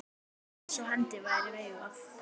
Eins og hendi væri veifað.